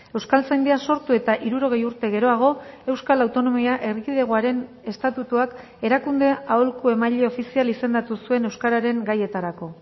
euskaltzaindia sortu eta hirurogei urte geroago euskal autonomia erkidegoaren estatutuak erakunde aholku emaile ofizial izendatu zuen euskararen gaietarako